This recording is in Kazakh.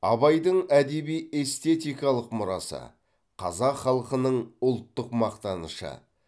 абайдың әдеби эстетикалық мұрасы қазақ халқының ұлттық мақтанышы